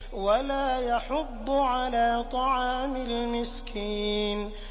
وَلَا يَحُضُّ عَلَىٰ طَعَامِ الْمِسْكِينِ